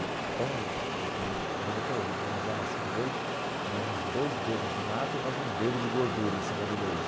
Então, eu lembro até hoje, vinha uma jarra assim de leite, mais uns dois dedos de nata e mais um dedo de gordura em cima do leite.